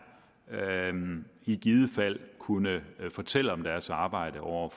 i givet fald kunne fortælle om deres arbejde over